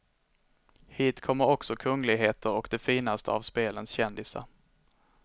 Hit kommer också kungligheter och de finaste av spelens kändisar.